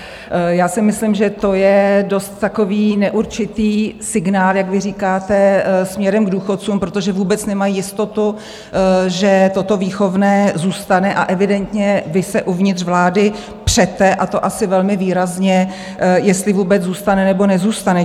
Já si myslím, že to je dost takový neurčitý signál, jak vy říkáte, směrem k důchodcům, protože vůbec nemají jistotu, že toto výchovné zůstane, a evidentně vy se uvnitř vlády přete, a to asi velmi výrazně, jestli vůbec zůstane, nebo nezůstane.